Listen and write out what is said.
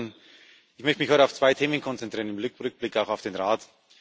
2016. Ich möchte mich heute auf zwei Themen konzentrieren, im Rückblick auch auf den Rat.